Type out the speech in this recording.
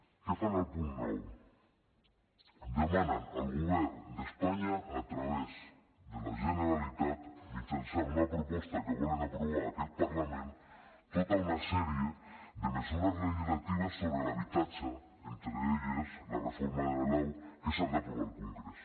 què fan al punt nou demanen al govern d’espanya a través de la generalitat mitjançant una proposta que volen aprovar en aquest parlament tota una sèrie de mesures legislatives sobre l’habitatge entre elles la reforma de la lau que s’ha d’aprovar al congrés